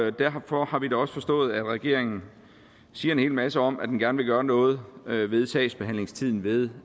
og derfor har vi da også forstået at regeringen siger en hel masse om at den gerne vil gøre noget ved sagsbehandlingstiden ved